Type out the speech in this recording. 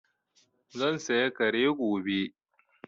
Zan saya Kare gobe